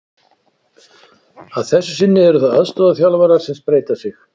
Að þessu sinni eru það aðstoðarþjálfarar sem spreyta sig.